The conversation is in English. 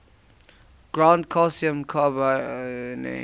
ground calcium carbonate